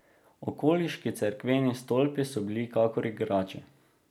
Okoliški cerkveni stolpi so bili kakor igrače.